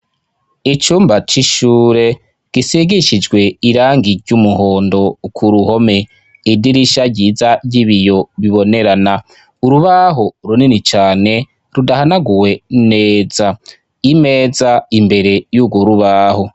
Icumba c'ishure gisigishijwe irangi ry'umuhondo ku ruhome, idirisha ryiza ry'ibiyo bibonerana, urubaho runini cane rudahanaguwe neza, imeza imbere y'urwo rubaho.